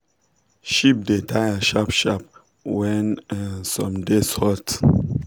sheep da taya shap shap when some days hot